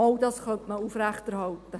Doch, dies könnte man aufrechterhalten.